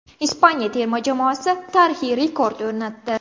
Ispaniya terma jamoasi tarixiy rekord o‘rnatdi.